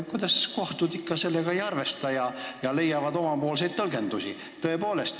Kuidas kohtud ikkagi sellega ei arvesta ja leiavad omapoolseid tõlgendusi?